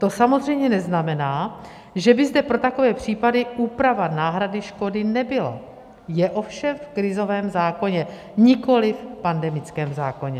To samozřejmě neznamená, že by zde pro takové případy úprava náhrady škody nebyla, je ovšem v krizovém zákoně, nikoli v pandemickém zákoně.